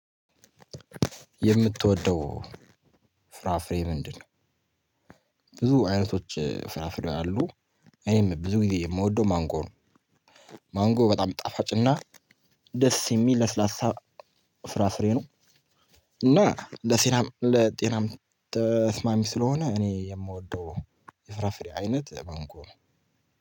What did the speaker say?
የምትወደው ፍራፍሬ ምንድነው ብዙ አይነቶች ፍራፍሬ አሉ እኔም ብዙ ጊዜ የምወደው ማንጎ ነው። ማንጎ በጣም ጣፋጭና ደስ የሚል ለስላሳ ፍራፍሬ ነው። እና ለሴናም ለጤናም ተስማሚ ስለሆነ እኔ የምወደው የፍራፍሬ አይነት በማንጎ ነው።